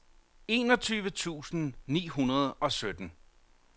enogtyve tusind ni hundrede og sytten